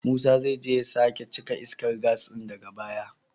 Musa zai je ya sake cika iskar gas din daga baya.